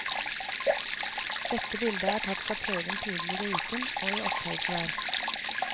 Dette bildet er tatt fra prøven tidligere i uken, og i oppholdsvær.